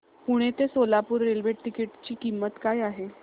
पुणे ते Solapur railway ticket ची किंमत काय आहे